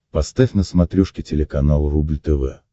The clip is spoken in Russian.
поставь на смотрешке телеканал рубль тв